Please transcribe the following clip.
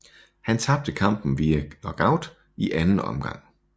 Han tabte kampen via KO i anden omgang